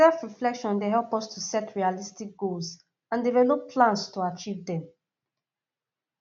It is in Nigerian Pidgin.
selfreflection dey help us to set realistic goals and develop plans to achieve dem